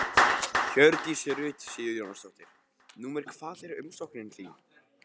Hjördís Rut Sigurjónsdóttir: Númer hvað er umsóknin þín?